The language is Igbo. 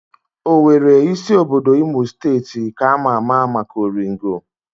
Owere, isi obodo Imo steeti, ka ama ama maka oringo